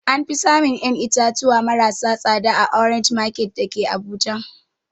Anfi samun ƴan itatuwa maras tsada a orange market dake abuja